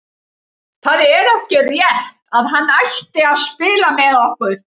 Það er ekki rétt að hann ætti að spila með okkur.